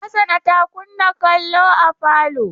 Hassana ta kunna kallo a falo.